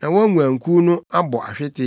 na wɔn nguankuw no abɔ ahwete.